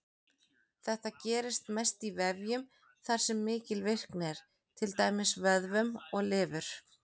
Þetta gerist mest í vefjum þar sem mikil virkni er, til dæmis vöðvum og lifur.